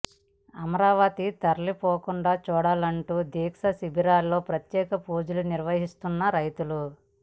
అమరావతి తరలిపోకుండా చూడలంటూ దీక్షా శిబిరాల్లో ప్రత్యేక పూజలు నిర్వహిస్తున్నారు రైతులు